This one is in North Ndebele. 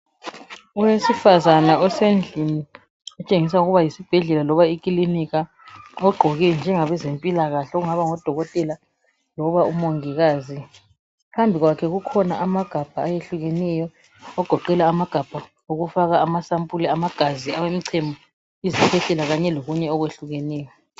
Owesifazana osendlini, otshengisa ukubana yesibhedlela loba ikilinika ogqoke njengabezempilakahle ongaba ngudokotela loba UMongikazi. Phambi kwakhe kukhona amagabha ayehlukeneyo okugoqela amagabha okufaka amasampuli amagazi loba umchemo, izikhwehlela kanye lokunye okwehlukeneyo.